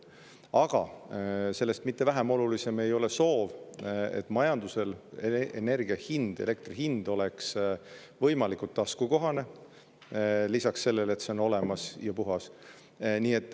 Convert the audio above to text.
Aga sellest mitte vähem oluline ei ole soov, et energia hind, elektri hind oleks võimalikult taskukohane, lisaks sellele, et see on olemas ja puhas.